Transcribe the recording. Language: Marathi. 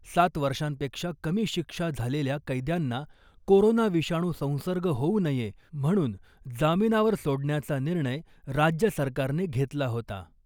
सात वर्षांपेक्षा कमी शिक्षा झालेल्या कैद्यांना कोरोना विषाणू संसर्ग होऊ नये म्हणून जामिनावर सोडण्याचा निर्णय राज्य सरकारने घेतला होता .